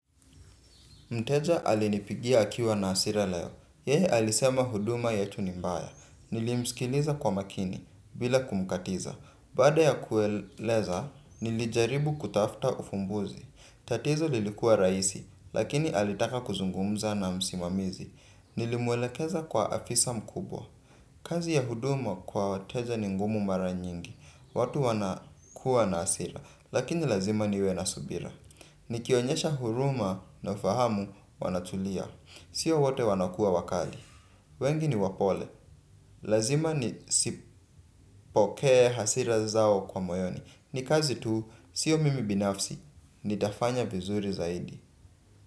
Mteja alinipigia akiwa na hasira leo. Yeye alisema huduma yetu ni mbaya. Nilimsikiliza kwa makini bila kumkatiza. Baada ya kueleza, nilijaribu kutafuta ufumbuzi. Tatizo lilikuwa rahisi, lakini alitaka kuzungumza na msimamizi. Nilimwelekeza kwa afisa mkubwa. Kazi ya huduma kwa wateja ni ngumu mara nyingi. Watu wana kuwa na hasira, lakini lazima niwe na subira. Ni kionyesha huruma na ufahamu wanatulia. Sio wote wanakuwa wakali. Wengi ni wapole. Lazima nizipokee hasira zao kwa moyoni. Ni kazi tu, sio mimi binafsi. Nitafanya vizuri zaidi.